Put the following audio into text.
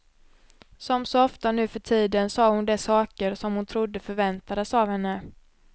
Som så ofta nu för tiden sa hon de saker som hon trodde förväntades av henne.